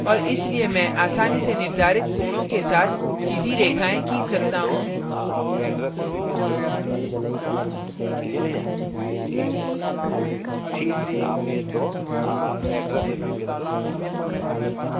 और इसलिए मैं आसानी से निर्धारित कोणों के साथ सीधी रेखाएं खींच सकता हूँ